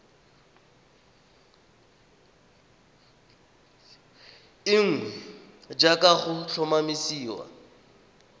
e nngwe jaaka go tlhomamisiwa